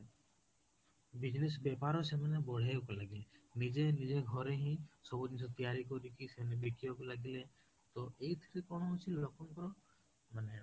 business ବେପାର ସେମାନେ ବହେ କରି ଲାଗିଲେ ନିଜେ ନିଜେ ଘରେ ହିଁ ସେମାନେ ତିଆରି କରିକି ସେମାନେ ବିକିବାକୁ ଲାଗିଲେ ତ ଏଇଥିରେ କଣ ହଉଛି ଲୋକଙ୍କର ମାନେ